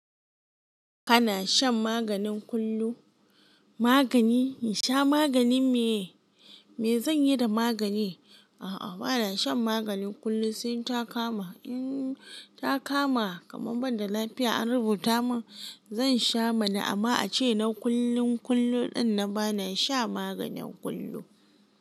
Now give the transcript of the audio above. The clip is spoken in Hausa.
Kana shan magani kullum? Magani? In sha maganin me? Me zanyi da magani? A'a bana shan magani kullum sai in ta kama. In ta kama kaman banda lafiya an rubuta mun, zan sha mana amma ace na kullum kullum din nan bana sha maganin kullum.